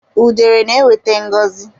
Udere na-ewete ngọzi.